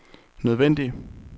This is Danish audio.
nødvendig